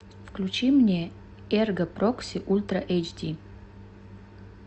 включи мне эрго прокси ультра эйч ди